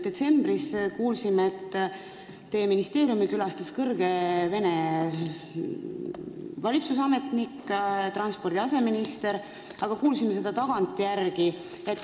Detsembris kuulsime, et teie ministeeriumis käis kõrge Vene valitsusametnik, transpordi aseminister, aga me kuulsime seda tagantjärele.